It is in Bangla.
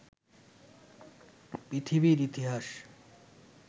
পৃথিবীর ইতিহাস